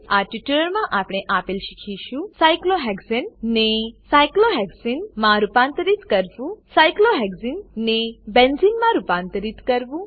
આ ટ્યુટોરીયલમાં આપણે શીખીશું સાયક્લોહેક્સાને સાયક્લોહેક્ઝેન ને સાયક્લોહેક્સને સાયક્લોહેક્ઝીન માં રૂપાંતરિત કરવું સાયક્લોહેક્સને સાયક્લોહેક્ઝીન ને બેન્ઝેને બેન્ઝીન માં રૂપાંતરિત કરવું